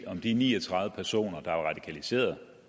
om de ni og tredive personer der er radikaliserede